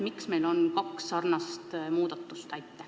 Miks meil on kaks sarnast muudatust?